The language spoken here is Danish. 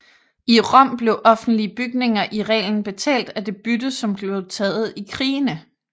I Rom blev offentlige bygninger i reglen betalt af det bytte som blev taget i krigene